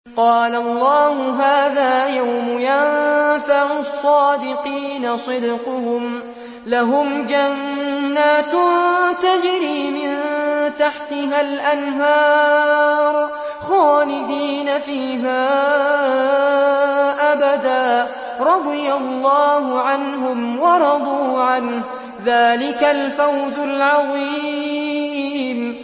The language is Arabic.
قَالَ اللَّهُ هَٰذَا يَوْمُ يَنفَعُ الصَّادِقِينَ صِدْقُهُمْ ۚ لَهُمْ جَنَّاتٌ تَجْرِي مِن تَحْتِهَا الْأَنْهَارُ خَالِدِينَ فِيهَا أَبَدًا ۚ رَّضِيَ اللَّهُ عَنْهُمْ وَرَضُوا عَنْهُ ۚ ذَٰلِكَ الْفَوْزُ الْعَظِيمُ